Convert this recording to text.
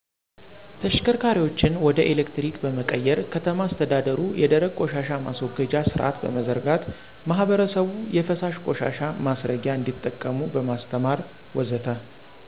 ተሽከርካሪዎችን ወደ ኤሌክትሪክ በመቀየር፣ ከተማ አስተዳደሩ የደረቅ ቆሻሻ ማስወገጃ ስርአት በመዘርጋት፣ ማህበረሰቡ የፈሳሽ ቆሻሻ ማስረጊያ እንዲጠቀሙ በማስተማር ወዘተ...